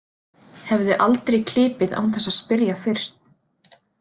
Hefði aldrei klipið án þess að spyrja fyrst.